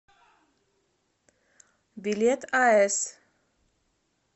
билет ас